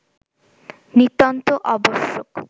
নিতান্ত আবশ্যক